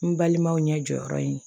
N balimaw ɲɛ jɔyɔrɔ ye